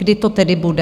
Kdy to tedy bude?